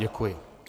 Děkuji.